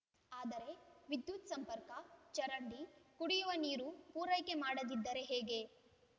ಆದರೆ ವಿದ್ಯುತ್‌ ಸಂಪರ್ಕ ಚರಂಡಿ ಕುಡಿಯುವ ನೀರು ಪೂರೈಕೆ ಮಾಡದಿದ್ದರೆ ಹೇಗೆ